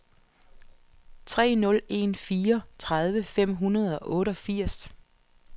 tre nul en fire tredive fem hundrede og otteogfirs